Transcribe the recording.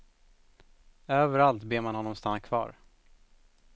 Överallt ber man honom stanna kvar.